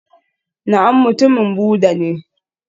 Na'am mutumin Buddha ne